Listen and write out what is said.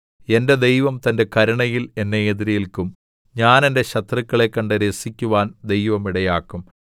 എന്റെ ദൈവം തന്റെ കരുണയിൽ എന്നെ എതിരേല്ക്കും ഞാൻ എന്റെ ശത്രുക്കളെ കണ്ട് രസിക്കുവാൻ ദൈവം ഇടയാക്കും